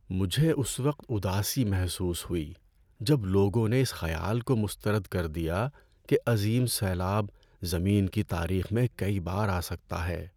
مجھے اس وقت اداسی محسوس ہوئی جب لوگوں نے اس خیال کو مسترد کر دیا کہ عظیم سیلاب زمین کی تاریخ میں کئی بار آ سکتا ہے۔